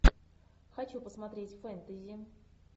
хочу посмотреть фэнтези